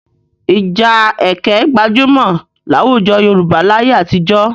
Ìja ẹkẹ gbajúmọ̀ láwùjọ Yorùbá láyé àtijọ́.